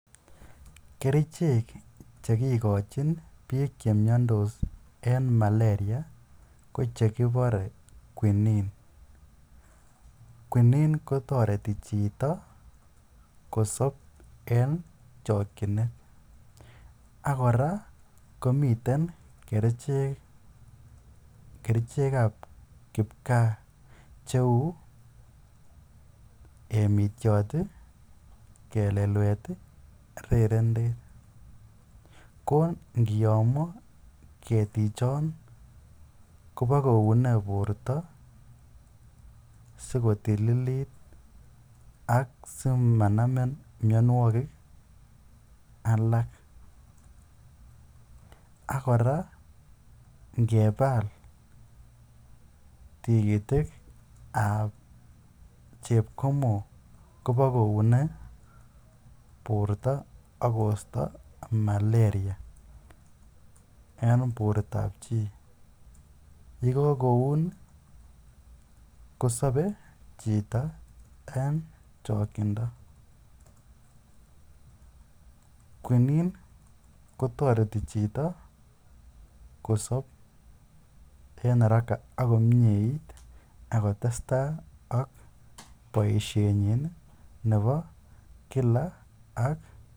Kerichek chekikochin biik chemiondos en maleria ko chekibore qunine, qunine kotoreti chito kosob en chokyinet, ak kora kerichekab kipkaa cheuu emitiot, kelelwet, rerendet ko ngiyomo ketichon kobokoune borto sikotililit ak simananmin mionwokik alak ak kora ngebal tikitikab chepkomon kibokoune borto ak kosto maleria en bortab chii, yekokoun kosobe chito en chokyindo, qunine kotoreti chito kosob en araka ak komnyeit ak kotesta ak boishenyin nebo kila ak.